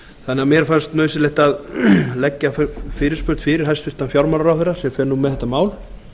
þannig að mér fannst nauðsynlegt að leggja fyrirspurn fyrir hæstvirtan fjármálaráðherra sem fer nú með þetta mál